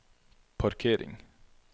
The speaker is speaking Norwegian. parkering